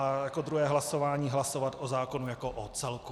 A jako druhé hlasování hlasovat o zákonu jako o celku.